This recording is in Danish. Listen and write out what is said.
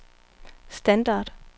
standard